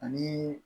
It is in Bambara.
Ani